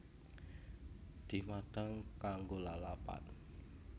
Dimadhang kanggo lalapan